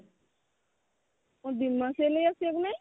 ଦି ମାସ ହେଲା ଆସିବାକୁ ନାଇଁ